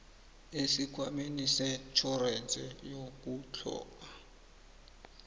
esikhwameni setjhorense yokutlhoga